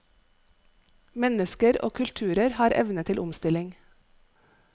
Mennesker og kulturer har evne til omstilling.